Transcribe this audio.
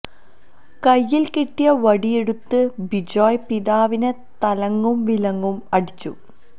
കൈയില് കിട്ടിയ വടിയെടുത്ത് ബിജോയ് പിതാവിനെ തലങ്ങും വിലങ്ങും അടിച്ചു